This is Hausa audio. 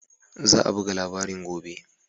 Za a buga labarin gobe